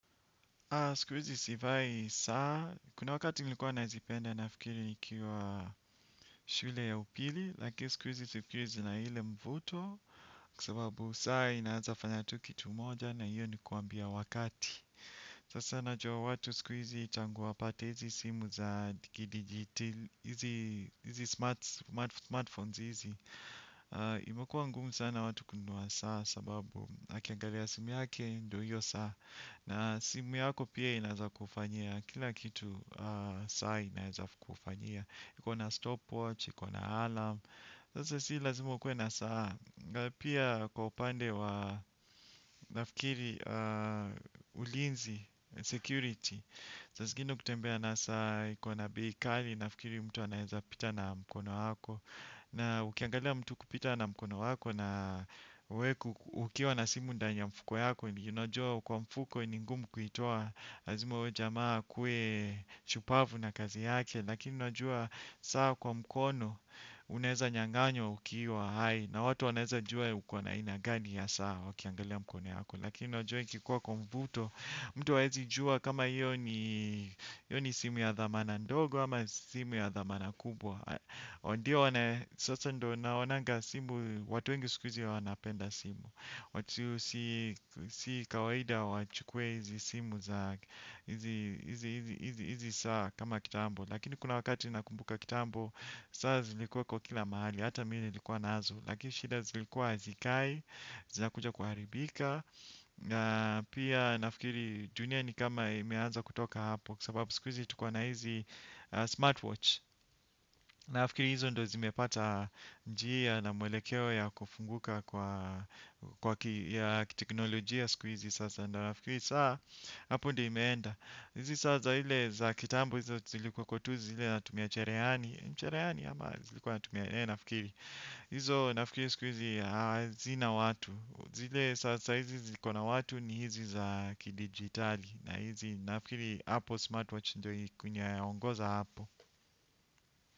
Siku izi sivai saa kuna wakati nilikuwa nazipenda nafikiri nikiwa shule ya upili lakini sikuizi sifeel zina ile mvuto kwa sababu saa inaeza fanya tu kitu moja na hiyo ni kuambia wakati sasa najua watu sikuizi tangu wapate hizi simu za hizi smart phones hizi imekuwa ngumu sana watu kununua saa sababu akiangalia simu yake ndio hiyo saa na simu yako pia inaeza kufanyia, kila kitu saa inaeza kufanyia iko na stopwatch, iko na alarm sasa si lazima ukuwe na saa na pia kwa upande wa nafikiri ulinzi security, saa zingine ukitembea na saa, iko na bei kali nafikiri mtu anaeza pita na mkono wako, na ukiangalia mtu kupita na mkono wako na we ukiwa na simu ndani ya mfuko yako, unajua kwa mfuko ni ngumu kuitoa lazima huyo jamaa akuwe shupavu na kazi yake lakini unajua saa kwa mkono unaeza nyanganywa ukiwa hai na watu wanaeza jua uko na aina gani ya saa wakiangalia mkono yako lakini unajua ikikuwa kwa mvuto mtu haezi juwa kama iyo ni simu ya dhamana ndogo ama simu ya dhamana kubwa ndio sasa ndio naonanga simu watu wengi sikuizi wanapenda simu. Watu si kawaida wachukue hizi simu za hizi saa kama kitambo. Lakini kuna wakati nakumbuka kitambo. Saa zilikuwa kwa kila mahali. Hata mi nilikuwa nazo. Lakini shida zilikuwa azikai. Zinakuja kuharibika. Pia nafikiri dunia ni kama imeanza kutoka hapo. Kwa sababu sikuizi tuko na hizi smartwatch. Nafikiri hizo ndio zimepata njia na mwelekeo ya kufunguka ya kiteknolojia sikuizi sasa ndio nafikiri saa hapo ndio imeenda hizi saa za ile za kitambo hizi zilikuwa tu zile zatumia cherehani mcherehani ama zilikuwa natumia eeh nafikiri hizo nafikiri sikuizi hazina watu zile saa saa izi ziko na watu ni hizi za kidigitali na hizi nafikiri Apple Smartwatch ndio kunyaoongoza hapo.